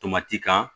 Tomati kan